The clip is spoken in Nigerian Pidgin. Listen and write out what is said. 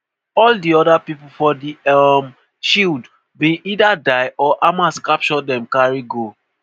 all di oda pipo for di um shield bin either die or hamas capture dem carry go.